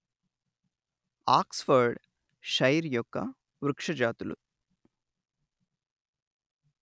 Oxford Shire యొక్క వృక్ష జాతులు